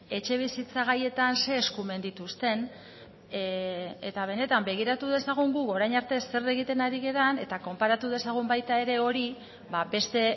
etxebizitza gaietan ze eskumen dituzten eta benetan begiratu dezagun gu orain arte zer egiten ari garen eta konparatu dezagun baita ere hori beste